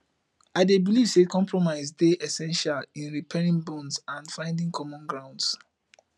i dey believe say compromise dey essential in repairing bonds and finding common ground